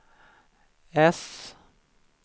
äss